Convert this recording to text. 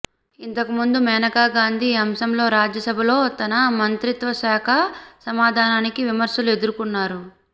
ఇంతకు ముందు మేనకా గాంధీ ఈ అంశంలో రాజ్య సభలో తన మంత్రిత్వ శాఖ సమాధానానికి విమర్శలను ఎదుర్కొన్నారు